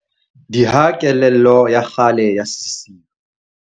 Diha kelello ya kgale ya sesiu.